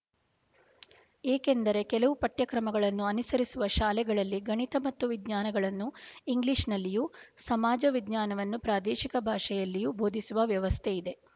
ಏಕೆಂದರೆ ಕೆಲವು ಪಠ್ಯಕ್ರಮಗಳನ್ನು ಅನುಸರಿಸುವ ಶಾಲೆಗಳಲ್ಲಿ ಗಣಿತ ಮತ್ತು ವಿಜ್ಞಾನಗಳನ್ನು ಇಂಗ್ಲೀಷ್ ನಲ್ಲಿಯೂ ಸಮಾಜವಿಜ್ಞಾನವನ್ನು ಪ್ರಾದೇಶಿಕ ಭಾಷೆಯಲ್ಲೂ ಬೋಧಿಸುವ ವ್ಯವಸ್ಥೆ ಇದೆ